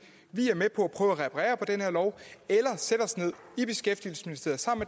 vi er med på at prøve at reparere på den her lov eller sætte os ned i beskæftigelsesministeriet sammen